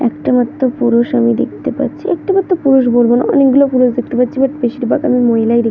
একটা মাত্র পুরুষ আমি দেখতে পারছি একটা মাত্র পুরুষ বলবোনা অনেক গুলো পুরুষ দেখতে পারছি বাট বেশির ভাগ আমি মহিলাই দেখতে--